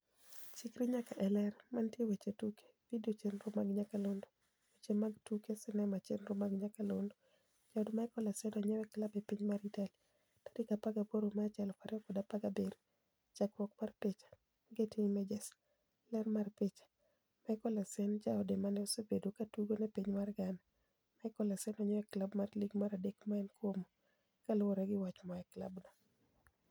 Chikri nyaka e Ler. Mantie e weche tuke. Video chenro mag nyakalondo. Weche mag tuke sinema chenro mag nyakalondo. Jaod Michael Essien onyiew klab e piny mar Itali, 18 Machi 2017. Chakruok mar picha, Getty Images. Ler mar picha, Michael Essien, jaod mane osebedo katugo ne piny mar Ghana, Michael Essien, onyiew klab mar lig mar adek ma en Como ,kaluore gi wach moa e klab no